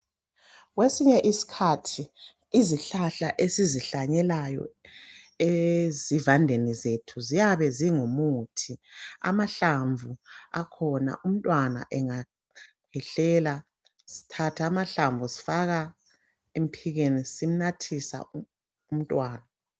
Kwesinye isikhathi izihlahla esizihlanyelayo ezivandeni zethu ziyabe singumuthi. Amahlamvu akhona umntwana engakhwehlela, sithatha amahlamvu sifaka emphikeni simnathisa umntwana.